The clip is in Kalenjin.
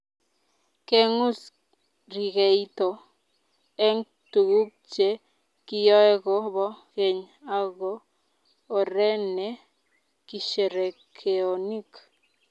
Kengus rikeito eng tukuk che kiyoe ko bo keny ako oree ne kisherekeonik.